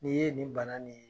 N'i ye nin bana nin ye